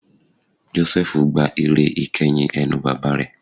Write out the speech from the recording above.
Jósẹ́fù gba ìre ìkeyìn ẹnu bàbá rẹ̀